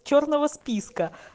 чёрного списка